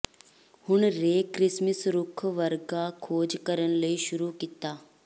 ਹੁਣ Ray Christmas ਰੁੱਖ ਵਰਗਾ ਖੋਜ ਕਰਨ ਲਈ ਸ਼ੁਰੂ ਕੀਤਾ